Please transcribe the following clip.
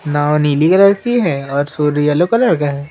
नांव नीली कलर की है और सूर्य येलो कलर का है।